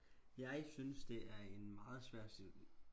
jeg synes det er en meget svær